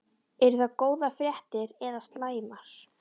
Eru það góðar fréttir eða slæmar?